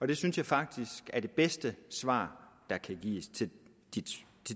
det synes jeg faktisk er det bedste svar der kan gives til